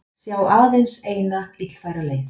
Sjá aðeins eina og illfæra leið